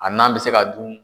A nan bɛ se ka dun.